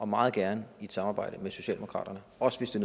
meget gerne i samarbejde med socialdemokratiet også